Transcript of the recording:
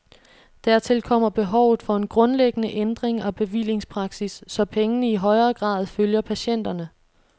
Dertil kommer behovet for en grundlæggende ændring af bevillingspraksis, så pengene i højere grad følger patienterne.